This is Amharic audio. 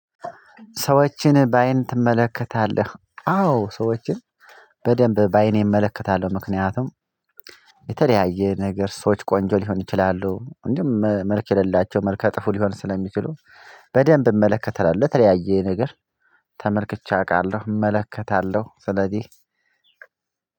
ሰዎችን በአይን ትመለከታለህ? አዎ ሰዎችን በደንብ በአይኔ እመለከታለሁ ምክንያቱም የተለያየ ነገር ሰዎች ቆንጆ ሊሆን ይችላሉ እንደውም መልክ የሌላቸው መልከ ጥፉ ሊሆን ስለሚችሉ በደንብ እመለከታለሁ የተለያየ ነገር ተመልክቼ አውቃለሁ እመለከታለሁ ስለዚህ